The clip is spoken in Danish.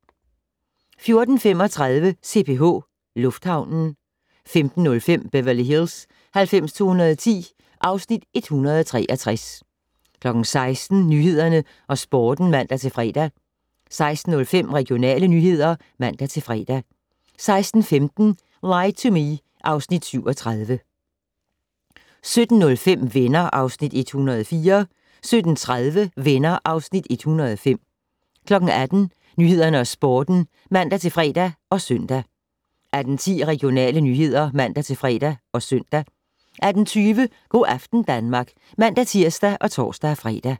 14:35: CPH - lufthavnen 15:05: Beverly Hills 90210 (Afs. 163) 16:00: Nyhederne og Sporten (man-fre) 16:05: Regionale nyheder (man-fre) 16:15: Lie to Me (Afs. 37) 17:05: Venner (Afs. 104) 17:30: Venner (Afs. 105) 18:00: Nyhederne og Sporten (man-fre og søn) 18:10: Regionale nyheder (man-fre og søn) 18:20: Go' aften Danmark (man-tir og tor-fre)